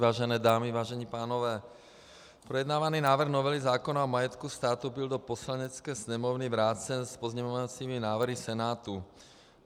Vážené dámy, vážení pánové, projednávaný návrh novely zákona o majetku státu byl do Poslanecké sněmovny vrácen s pozměňovacími návrhy Senátu.